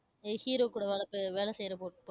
ஏய் hero கூட வேலை ப~ வேலை செய்யற பொண்~